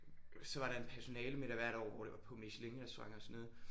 Så var der en personalemiddag hvert år hvor det var på michelinrestaurant og sådan noget